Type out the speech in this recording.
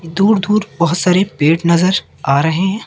दूर दूर बहोत सारे पेड़ नजर आ रहे है।